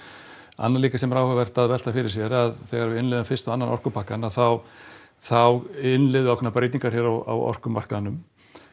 annað líka sem er áhugavert að velta fyrir sér að þegar við innleiðum fyrsta og annan orkupakkann að þá þá innleiðum við ákveðnar breytingar hérna á orkumarkaðnum